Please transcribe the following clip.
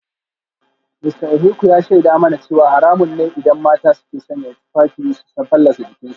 Mista Ohieku ya shaida mana cewa haramun ne idan mata ke sanya tufafi su fallasa jikinsu